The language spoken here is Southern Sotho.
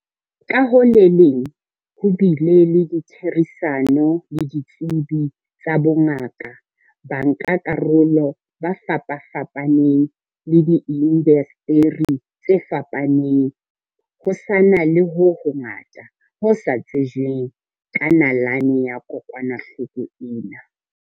Ka ho le leng ho bile le ditherisano le ditsebi tsa bongaka, bankakarolo ba fapafapaneng le diindaseteri tse fapaneng. Ho sa na le ho hongata ho sa tsejweng ka nalane ya kokwanahloko ena.